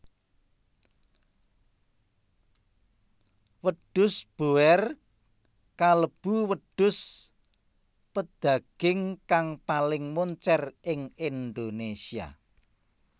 Wedhus boer kalebu wedhus pedaging kang paling moncèr ing Indonésia